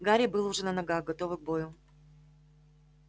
гарри был уже на ногах готовый к бою